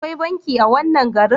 Akwai banki a wannan garin?